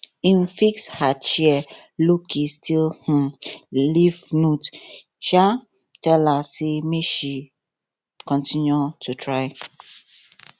im fix her chair lowkey still um leave note um tell her say make she continue to try